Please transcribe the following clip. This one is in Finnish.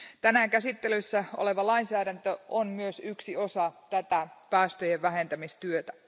Tänään käsittelyssä oleva lainsäädäntö on myös yksi osa tätä päästöjen vähentämistyötä.